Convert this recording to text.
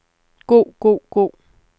god god god